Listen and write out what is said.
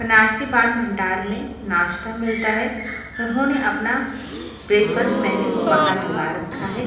बनारसी पान भंडार में नाश्ता मिलता है उन्होंने अपना ब्रैक फस्ट मेनू बाहर लगा रखा है।